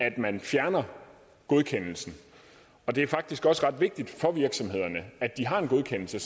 at man fjerner godkendelsen det er faktisk også ret vigtigt for virksomhederne at de har en godkendelse